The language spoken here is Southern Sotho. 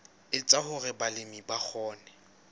etsa hore balemi ba kgone